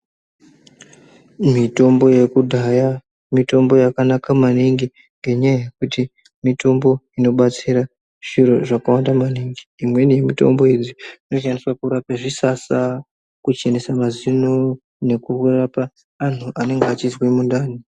Mitombo yekudhaya mitombo yakanaka maningi ngenya yekuti mitombo ino batsira zviro zvaka wanda maningi imweni ye mutombo idzi ino shandiswa kurape zvisasa ku chenese mazino neku rapa antu anenge achizwe mundani.